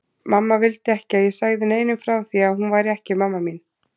Mamma vildi ekki að ég segði neinum frá því að hún væri ekki mamma mín.